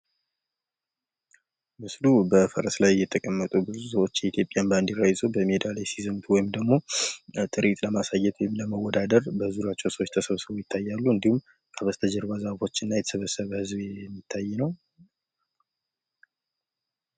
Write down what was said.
ምስሉ በፈረስ ላይ የተቀመጡ ብዙ ሰዎች የኢትዮጵያን ባኖዲራ ይዘዉ በሜዳ ላይ ሲዘምቱ ወይም ደግሞ ለትርኢት ለማሳየት ወይም ለመወዳደር በዙሪያቸዉ ሰዎች ተሰብስበዉ ይታያሉ። እንዲሁም ከበስተጀርባ ዛፎች እና የተሰበሰበ ህዝብ የሚታይ ነዉ።